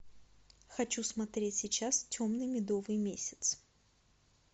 хочу смотреть сейчас темный медовый месяц